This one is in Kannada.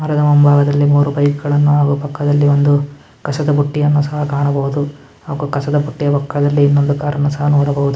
ಮರದ ಮುಂಬಾಗದಲ್ಲಿ ಮೂರು ಬೈಕ್ ಗಳನ್ನ ಹಾಗು ಪಕ್ಕದಲ್ಲಿ ಒಂದು ಕಸದ ಬುಟ್ಟಿಯನ್ನ ಸಹ ಕಾಣಬಹುದು ಹಾಗು ಕಸದ ಬುಟ್ಟಿಯ ಪಕ್ಕದಲ್ಲಿ ಇನ್ನೊಂದು ಕಾರನ್ನು ಸಹ ನೋಡಬಹುದು.